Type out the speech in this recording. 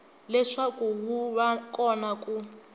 leswaku wu va kona ku